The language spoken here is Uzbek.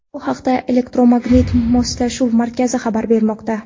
Bu haqda Elektromagnit Moslashuv Markazi xabar bermoqda .